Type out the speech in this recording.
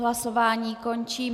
Hlasování končím.